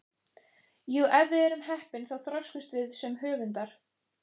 Jú, ef við erum heppin þá þroskumst við sem höfundar.